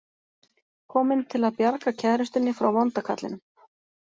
Kominn til að bjarga kærustunni frá vonda kallinum.